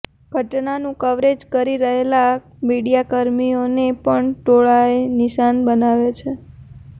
ઘટનાનું કવરેજ કરી રહેલા મીડિયાકર્મીઓને પણ ટોળાએ નિશાન બનાવ્યા છે